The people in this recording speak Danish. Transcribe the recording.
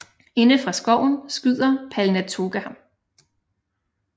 Inde fra skoven skyder Palnatoke ham